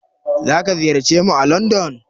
Zaka ziyarce mu à landon.